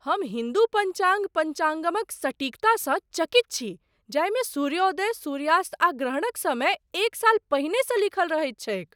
हम हिन्दू पञ्चाङ्ग, पञ्चागमक सटीकता सँ चकित छी, जाहिमे सूर्योदय, सूर्यास्त, आ ग्रहणक समय एक साल पहिनेसँ लीखल रहैत छैक।